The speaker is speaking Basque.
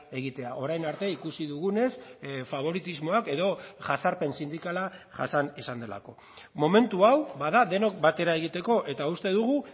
egitea orain arte ikusi dugunez faboritismoak edo jazarpen sindikala jasan izan delako momentu hau bada denok batera egiteko eta uste dugu